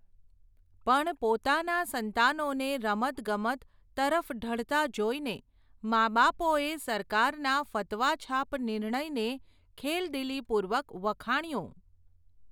પણ પોતાનાં સંતાનોને રમત ગમત, તરફ ઢળતાં જોઇને, માબાપોએ સરકારના ફતવાછાપ નિર્ણયને ખેલદિલીપૂર્વક વખાણ્યો.